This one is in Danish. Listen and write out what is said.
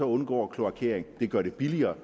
undgår kloakering det gør det billigere